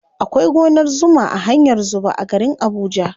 Akwai gonar zuma a hanyar zuba a garin abuja.